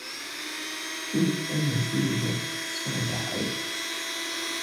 Tuug ayaa gurigayga soo dhacay